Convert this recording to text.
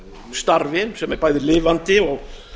starfi sem er bæði lifandi og